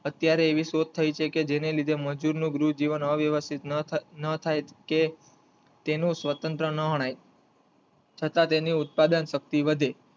અત્યારે એવી શોધ થઈ છે કે જેને લીધે મજૂરો ની ગૃહ જીવન અવ્યવસ્થિત ના થઈ કે તેનું સ્વતંત્ર ના ગણાય છતાં તેની ઉત્પાદન શક્તિ વધે